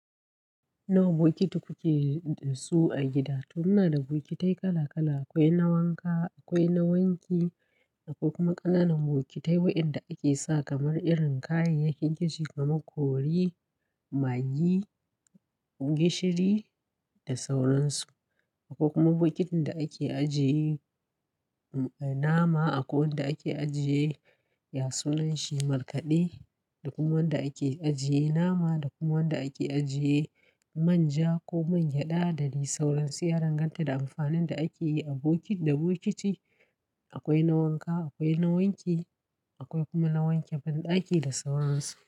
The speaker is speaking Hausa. Nawa bokiti kuke da su a gida? To muna da bokitai kala kala. Akwai na wanka, akwai na wanki, akwai kuma ƙananan bokitai waɗanda ake sa kamar irin kayayyakin kitchin kamar curry, maggi, gishiri da sauran su. Akwai kuma bokitin da ake ajiye nama akwai wanda ake ajiye ya sunan shi markaɗe da kuma wanda ake ajiye nama da kuma wanda ake ajiye man ja ko man gyada. Dade sauran su ya danganta da amfanin da ake yi. A bokitin da bokiti akwai na wanka, akwai na wanki, akwai kuma na wanke banɗaki da sauran su.